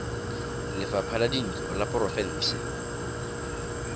lefapha la dintlo la porofense